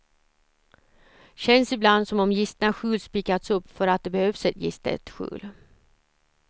Känns ibland som om gistna skjul spikats upp för att det behövs ett gistet skjul.